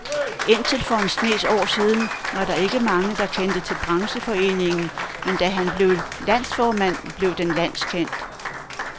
Indtil for en snes år siden var der ikke mange, der kendte til brancheforeningen, men da han blev landsformand, blev den landskendt.